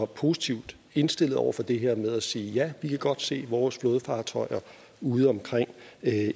positivt indstillet over for det her med at sige ja vi kan godt se vores flådefartøjer udeomkring